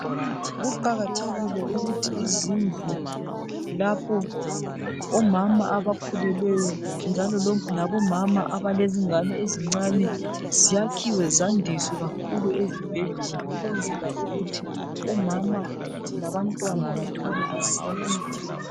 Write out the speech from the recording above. Kuqakathekile ukuthi izindlu lapho omama abakhulelelweyo njalo labomama abalengane eIezincane zakhiwe zandiswe kakhulu ezibhedlela ukwenzela ukuthi omama labantwana bathole usizo.